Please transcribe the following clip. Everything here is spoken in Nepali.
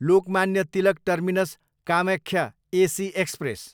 Lokmanya Tilak terminus, Kamakhya AC express